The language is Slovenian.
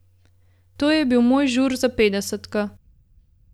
To je bil moj žur za petdesetko.